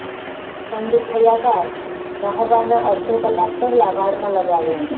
ઠંડુ થયા બાદ નહાવાના અડધો કલાક પહેલા વાળમાં લગાવો